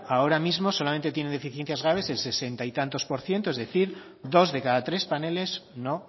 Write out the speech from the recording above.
ahora mismo solamente tiene deficiencias graves el sesenta y tantos es decir dos de cada tres paneles